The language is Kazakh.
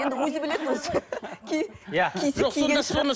енді өзі біледі өзі кисе киген шығар